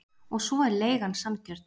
Og svo er leigan sanngjörn.